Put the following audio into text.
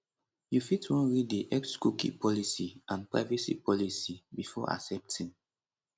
you fit wan read di xcookie policyandprivacy policybefore accepting